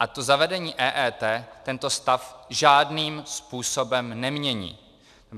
A to zavedení EET tento stav žádným způsobem nemění.